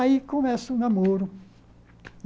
Aí começa o namoro.